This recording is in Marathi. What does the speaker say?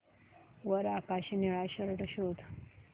वर आकाशी निळा शर्ट शोध